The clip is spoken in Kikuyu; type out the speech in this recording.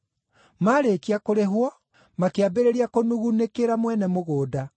Maarĩkia kũrĩhwo, makĩambĩrĩria kũnugunĩkĩra mwene mũgũnda.